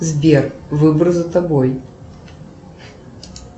сбер выбор за тобой